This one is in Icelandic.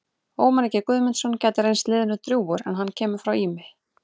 Ómar Ingi Guðmundsson gæti reynst liðinu drjúgur en hann kemur frá Ými.